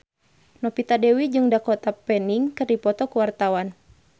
Novita Dewi jeung Dakota Fanning keur dipoto ku wartawan